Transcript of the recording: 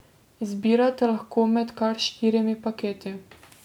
Izbirate lahko med kar štirimi paketi.